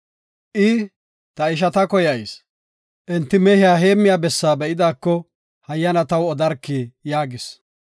I, “Ta ishata koyayis; enti mehiya heemmiya bessaa be7idaako, hayyana taw odarkii” yaagis.